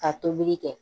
Ka tobili kɛ